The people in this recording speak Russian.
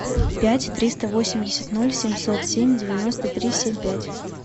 пять триста восемьдесят ноль семьсот семь девяносто три семь пять